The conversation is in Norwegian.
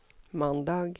mandag